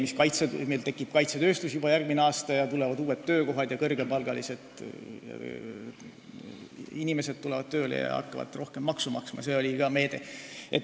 Meil tekib juba järgmisel aastal kaitsetööstus, tulevad uued töökohad, kõrgepalgalised inimesed tulevad tööle ja hakkavad rohkem maksu maksma, see oli ka üks meede.